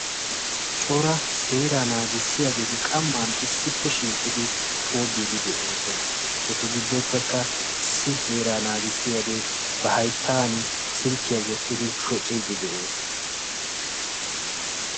cora seera naagissiyageeti qamma issippe shiiqidi tobbidii de'oosona. etu giddoppekka issi seera naagissiyaagee ba hayttan silkkiya wottidi shocciidi de'ees.